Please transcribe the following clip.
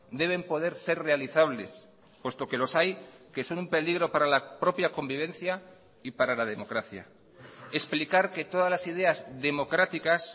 deben poder ser realizables puesto que los hay que son un peligro para la propia convivencia y para la democracia explicar que todas las ideas democráticas